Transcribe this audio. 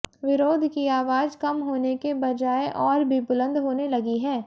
विरोध की आवाज कम होने के बजाय और भी बुलंद होने लगी है